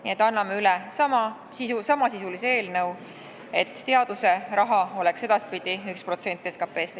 Nii et annan üle samasisulise eelnõu, et teadusraha oleks edaspidi 1% SKT-st.